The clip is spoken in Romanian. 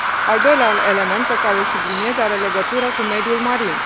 Al doilea element pe care îl subliniez are legătură cu mediul marin.